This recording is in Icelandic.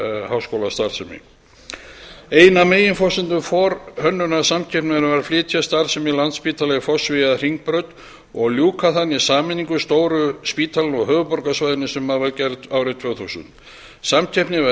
háskólastarfsemi ein af meginforsendum forhönnunarsamkeppninnar var að flytja starfsemi landspítala í fossvogi að hringbraut og ljúka þannig sameiningu stóru spítalanna á höfuðborgarsvæðinu sem var gerð árið tvö þúsund samkeppnin var